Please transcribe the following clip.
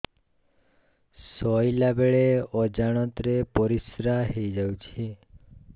ଶୋଇଲା ବେଳେ ଅଜାଣତ ରେ ପରିସ୍ରା ହେଇଯାଉଛି